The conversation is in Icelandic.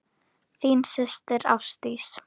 Þín systir Ásdís.